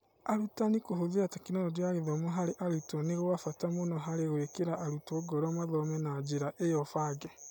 Arutani kũhũthĩra Tekinoronjĩ ya Gĩthomo harĩ arutwo nĩ gwa bata mũno harĩ gwĩkĩra arutwo ngoro mathome na njĩra ĩyo bange.